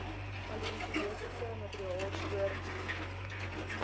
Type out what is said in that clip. paleontologiese materiaal spoorfossiele